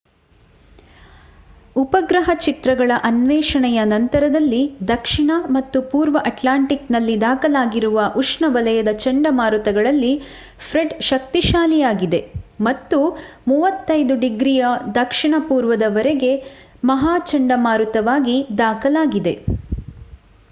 ಉಪಗ್ರಹ ಚಿತ್ರಗಳ ಅನ್ವೇಷಣೆಯ ನಂತರದಲ್ಲಿ ದಕ್ಷಿಣ ಮತ್ತು ಪೂರ್ವ ಅಟ್ಲಾಂಟಿಕ್ ನಲ್ಲಿ ದಾಖಲಾಗಿರುವ ಉಷ್ಣವಲಯದ ಚಂಡಮಾರುತಗಳಲ್ಲಿ ಫ್ರೆಡ್ ಶಕ್ತಿಶಾಲಿಯಾಗಿದೆ ಮತ್ತು 35°w ದ ಪೂರ್ವದ ಮೂರನೇ ಮಹಾ ಚಂಡಮಾರುತವಾಗಿ ದಾಖಲಾಗಿದೆ